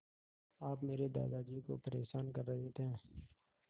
आप मेरे दादाजी को परेशान कर रहे हैं